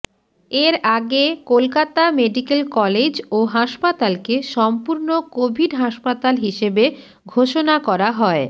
এর আগে Kolkata medical college ও হাসপাতালকে সম্পূর্ণ কোভিড হাসপাতাল হিসেবে ঘোষণা করা হয়